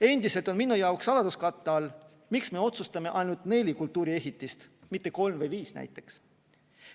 Endiselt on minu jaoks saladuskatte all, miks me otsustame ainult neli kultuuriehitist, mitte kolm või viis näiteks.